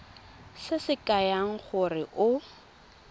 se se kaya gore o